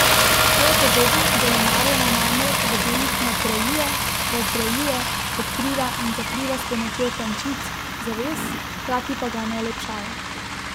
Svojo podobo Delimarjeva namreč v delih nadgrajuje, razgrajuje, odkriva in zakriva s pomočjo tančic, zaves, hkrati pa ga ne olepšava.